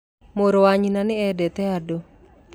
Mũrũ wa nyina nĩ endete andũ